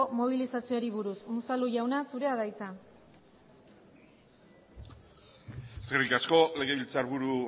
mobilizazioei buruz unzalu jauna zurea da hitza eskerrik asko legebiltzarburu